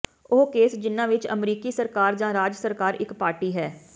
ਉਹ ਕੇਸ ਜਿਨ੍ਹਾਂ ਵਿੱਚ ਅਮਰੀਕੀ ਸਰਕਾਰ ਜਾਂ ਰਾਜ ਸਰਕਾਰ ਇਕ ਪਾਰਟੀ ਹੈ